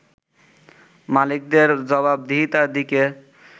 মালিকদের জবাবদিহিতার দিকে